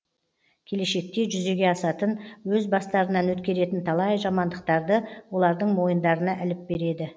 келешекте жүзеге асатын өз бастарынан өткеретін талай жамандықтарды олардың мойындарына іліп береді